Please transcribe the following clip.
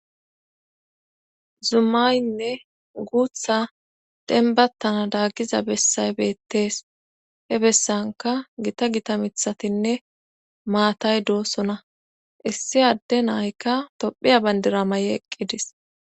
zumaynne guutha denbattana daaggiza bessay beettees he bessanka gita gita mithatinne maatay doossona issi adde naykka tophiya bandira mayi eqqidis